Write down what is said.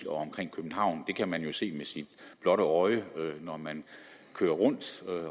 omkring københavn det kan man jo se med sit blotte øje når man kører rundt